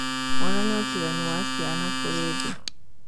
onanĩa ũtinganu wa ciana kũri thĩ